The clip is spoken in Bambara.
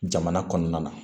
Jamana kɔnɔna na